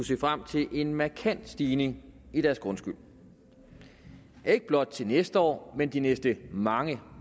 se frem til en markant stigning i deres grundskyld ikke blot til næste år men i de næste mange